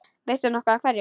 Veistu nokkuð af hverju?